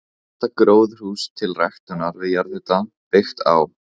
Fyrsta gróðurhús til ræktunar við jarðhita byggt á